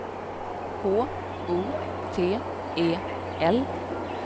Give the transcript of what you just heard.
H O T E L